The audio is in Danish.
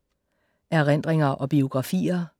Erindringer og biografier